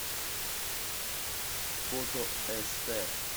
фото эстэ